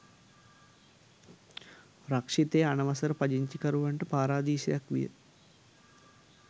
රක්‍ෂිතය අනවසර පදිංචිකරුවන්ට පාරාදීසයක් විය.